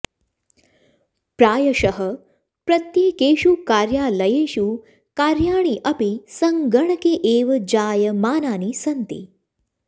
प्रायषः प्रत्येकेषु कार्यालयेषु कार्याणि अपि संगणके एव जायमानानि सन्ति